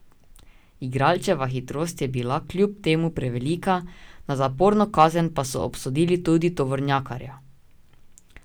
Igralčeva hitrost je bila kljub temu prevelika, na zaporno kazen pa so obsodili tudi tovornjakarja.